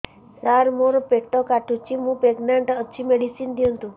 ସାର ମୋର ପେଟ କାଟୁଚି ମୁ ପ୍ରେଗନାଂଟ ଅଛି ମେଡିସିନ ଦିଅନ୍ତୁ